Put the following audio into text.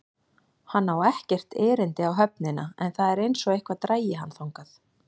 Hann á ekkert erindi á höfnina en það er einsog eitthvað dragi hann þangað.